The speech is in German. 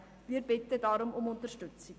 Wir bitten deshalb um Unterstützung.